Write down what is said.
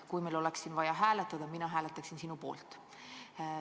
Kui meil oleks vaja siin hääletada, siis mina hääletaksin sinu poolt.